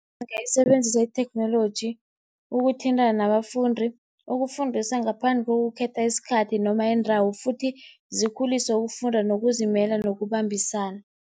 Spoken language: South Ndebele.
Zingayisebenzisa itheknoloji ukuthintana nabafundi, ukufundisa ngaphandle kokukhetha isikhathi noma idawo futhi zikhuliswe ukufunda nokuzimela nokubambisana.